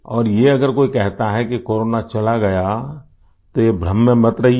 और ये अगर कोई कहता है कि कोरोना चला गया तो ये भ्रम में मत रहिए